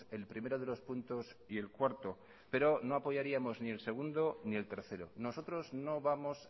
el primero de los puntos y el cuarto pero no apoyaríamos ni el segundo ni el tercero nosotros no vamos